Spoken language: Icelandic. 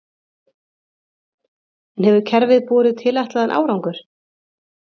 En hefur kerfið borið tilætlaðan árangur?